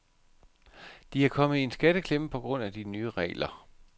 De er kommet i en skatteklemme på grund af de nye regler.